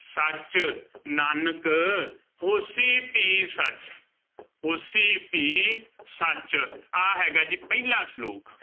ਸਚੁ, ਨਾਨਕ ਹੋਸੀ ਭੀ ਸਚੁ, ਹੋਸੀ ਭੀ ਸਚੁ ਆਹ ਹੈਗਾ ਜੀ ਪਹਿਲਾ ਸਲੋਕ।